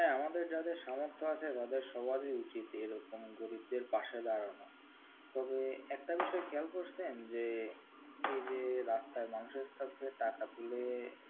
হ্যাঁ, আমাদের যাদের সামর্থ আছে তাদের সবারই উচিত এ রকম গরিবদের পাশে দাঁড়ানো তবে একটা বিষয় খেয়াল করেছেন যে এই যে রাস্তায় মানুষের কাছে টাকা তুলে,